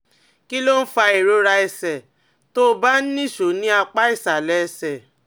Kí ló ń fa ìrora ẹsẹ̀ tó ń bá a nìṣó ní apá ìsàlẹ̀ ẹsẹ̀?